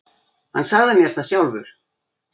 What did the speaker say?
Hann sagði mér það sjálfur.